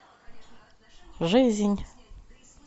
жизнь